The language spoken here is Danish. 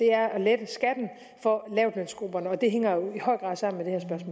er at lette skatten for lavtlønsgrupperne og det hænger jo i høj grad sammen